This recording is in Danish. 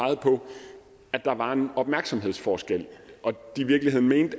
at der var en opmærksomhedsforskel og